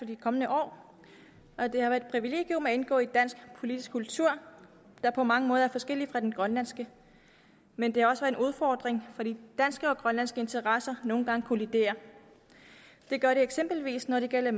de kommende år det har været et privilegium at indgå i en dansk politisk kultur der på mange måder er forskellig fra den grønlandske men det har også været en udfordring fordi danske og grønlandske interesser nogle gange kolliderer det gør de eksempelvis når det gælder